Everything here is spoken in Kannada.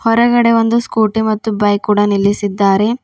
ಹೊರಗಡೆ ಒಂದು ಸ್ಕೂಟಿ ಮತ್ತು ಬೈಕ್ ಕೂಡ ನಿಲ್ಲಿಸಿದ್ದಾರೆ.